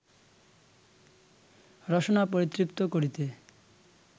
রসনা পরিতৃপ্ত করিতে